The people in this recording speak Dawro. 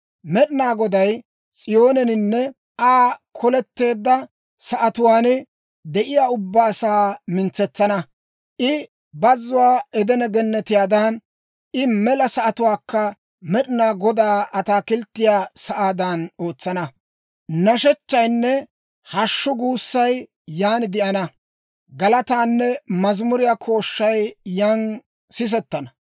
«Med'inaa Goday S'iyooneninne Aa koleteedda sa'atuwaan de'iyaa ubbaa asaa mintsetsana. I bazzuwaa Edene Gennetiyaadan, I mela sa'atuwaakka Med'inaa Godaa ataakilttiyaa sa'aadan ootsana. Nashechchaynne hashshu guussay yan de'ana; galataanne mazimuriyaa kooshshay yan sisettana.